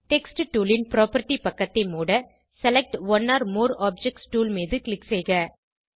text tool ன் property பக்கத்தை மூட select one or more objects tool மீது க்ளிக் செய்க